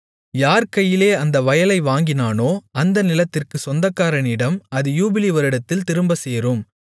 யார் கையிலே அந்த வயலை வாங்கினானோ அந்த நிலத்திற்குச் சொந்தக்காரனிடம் அது யூபிலி வருடத்தில் திரும்பச்சேரும்